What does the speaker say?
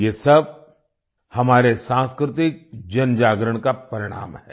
ये सब हमारे सांस्कृतिक जनजागरण का परिणाम है